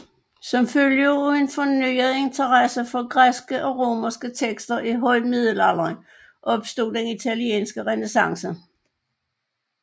Som følge af en fornyet interesse for græske og romerske tekster i højmiddelalderen opstod den italienske renæssance